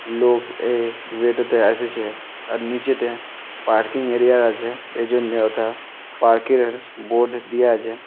লোকে এ গেট তে আসেছে। আর নিচেতে পার্কিং এরিয়া ও আছে এজন্য যথা পার্ক এর বোর্ড দেওয়া আছে।